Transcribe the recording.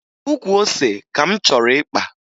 Ukwu ose ka m chọrọ ịkpa